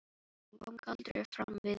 Hún kom galdri fram við mig.